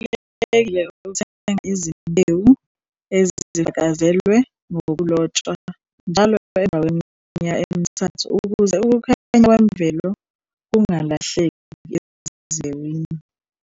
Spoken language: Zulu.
Kubalulekile ukuthenga izimbewu ezifakazelwe ngokulotshwa njalo emva kweminyaka emithathu ukuze ukukhanya kwemvelo kungalahleki ezimbewini.